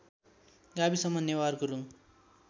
गाविसमा नेवार गुरुङ